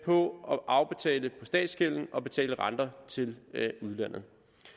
på statsgælden og betale renter til udlandet